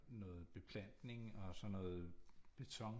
Noget beplantning og så noget beton